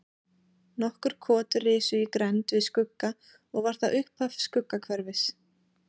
Nokkur kot risu í grennd við Skugga og var það upphaf Skuggahverfis.